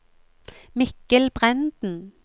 Mikkel Brenden